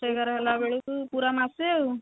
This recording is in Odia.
ଦଶ ଏଗାର ହେଲା ବେଳକୁ ପୁରା ମାସେ ଆଉ